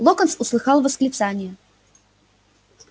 локонс услыхал восклицание